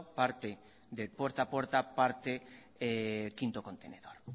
parte del puerta a puerta parte quinto contenedor